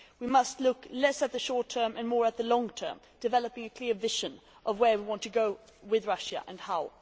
We must look less at the short term and more at the long term, developing a clear vision of where we want to go with Russia and how.